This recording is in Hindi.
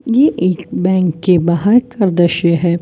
ये एक बैंक के बाहर का दृश्य है।